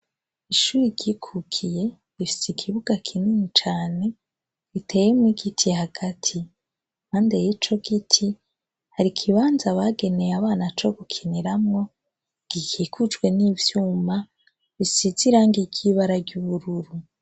Ishure ryikukiye rifise ikibuga kinini cane giteyemwo igiti hagati; impande y'icogiti har'ikibanza bageneye abana co gukiniramwo gikikujwe n'ivyuma bisize irangi ry'ibara ry'ubururu.